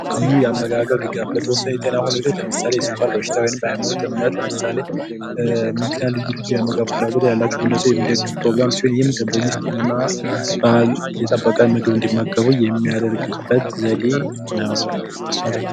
ልዩ የአመጋገብ ድጋፍ ለምሳሌ የስኳር በሽታ ልዩ ልዩ የአመጋገብ ፍላጎት ያላቸው ግለሰቦች የሚደግፍ የአመጋገብ ፕሮግራም ሲሆን ይህም ባህሉን የጠበቀ ምግብ እንዲመገቡ የሚያደርጉበት ዘዴ ነው ማለት ነው።